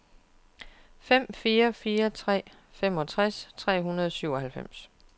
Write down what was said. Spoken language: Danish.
fem fire fire tre femogtres tre hundrede og syvoghalvfems